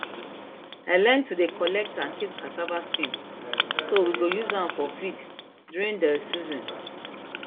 i learn to dey collect and keep cassava skin so we go use am for feed during dey season